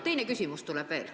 Teine küsimus tuleb veel.